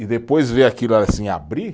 E depois ver aquilo assim abrir